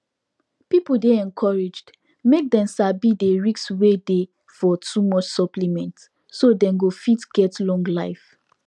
pipu dey encouraged make dem sabi dey risk wey dey for too much supplement so dem go fit get long life